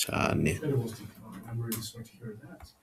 cane.